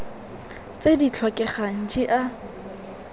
tse di tlhokegang di a